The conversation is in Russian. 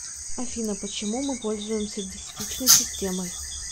афина почему мы пользуемся десятичной системой